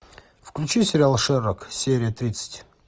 включи сериал шерлок серия тридцать